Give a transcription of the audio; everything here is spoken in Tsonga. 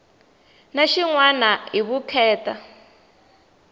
na xin wana hi vukheta